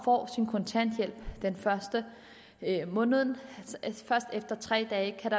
får sin kontanthjælp den første i måneden først efter tre dage